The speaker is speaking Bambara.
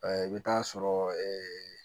i bɛ taa sɔrɔ